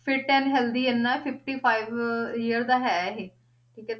Fit and healthy ਇੰਨਾ fifty five year ਦਾ ਹੈ ਇਹ ਠੀਕ ਹੈ